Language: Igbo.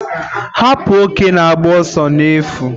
Hapu oke na-agba ọsọ n'efu